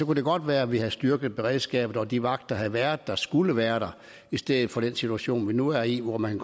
det godt være at vi havde styrket beredskabet og at de vagter havde været der som skulle være der i stedet for den situation vi nu er i hvor man